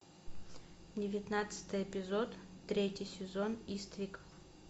девятнадцатый эпизод третий сезон иствик